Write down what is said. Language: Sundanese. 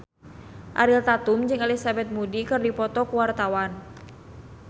Ariel Tatum jeung Elizabeth Moody keur dipoto ku wartawan